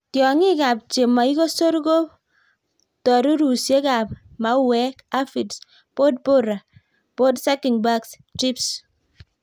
Tiong'ikab chemoikosor ko ptorurusiekab mauwek, aphids, pod borer, pod sucking bugs, thrips.